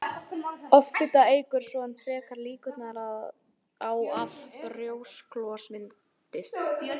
Offita eykur svo enn frekar líkurnar á að brjósklos myndist.